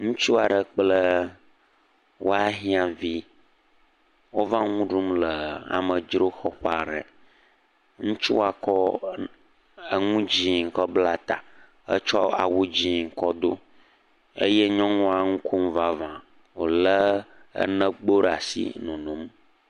Ŋutsu aɖe kple woahiãvi wova le nu ɖum le amedzroxɔƒe aɖe, ŋutsua kɔ nu dzi kɔ bla ta eye wo tsɔ awu dzɛ̃ kɔ do eye nyɔnua enu kmom vavã wolé enegbo ɖe asi le nonom.